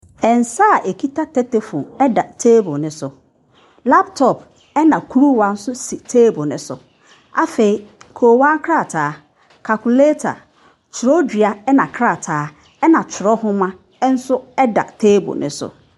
Nsa a ɛkita tetefoon da table no so. Laptop, ɛna kuruwa nso si table no so. Afei koowaa nkrataa, calculator, twerɛdua na krataa, na twerɛnwoma nso da table no so.